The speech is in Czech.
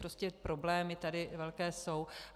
Prostě problémy tady velké jsou.